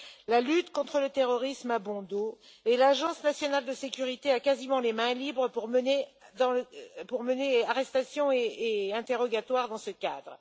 La lutte contre le terrorisme a bon dos et l'Agence nationale de sécurité a quasiment les mains libres pour mener arrestations et interrogatoires dans ce cadre.